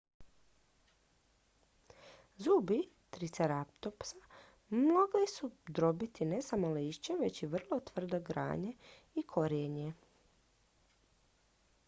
zubi triceratopsa mogli su drobiti ne samo lišće već i vrlo tvrde grane i korijenje